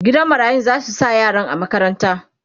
gidan marayun zasu sa yaran a makaranta